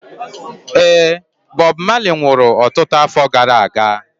Ee, Bob Marley nwụrụ ọtụtụ afọ gara aga.